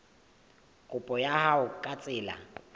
kopo ya hao ka tsela